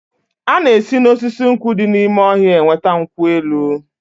A na-esi na osisi nkwụ di n'ime ọhịa enweta nkwụ elụ.